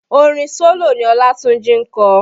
Orin solo ni Olatunji ń kọ